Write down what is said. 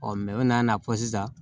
o nana fɔ sisan